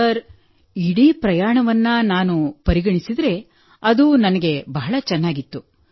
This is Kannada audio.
ಸರ್ ಇಡೀ ಪ್ರಯಾಣವನ್ನು ನಾನು ಪರಿಗಣಿಸಿದರೆ ಅದು ನನಗೆ ಬಹಳ ಚೆನ್ನಾಗಿತ್ತು